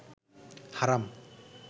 হারাম